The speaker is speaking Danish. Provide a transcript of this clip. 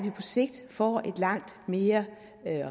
sigt får et langt mere